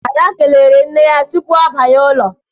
Ada kelere nne ya tupu ọ banye n'ụlọ